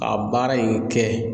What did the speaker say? a baara in kɛ